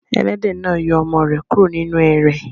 Ẹlẹ́dẹ̀ náà yọ ọmọ rẹ̀ kúrò nínú ẹrẹ̀.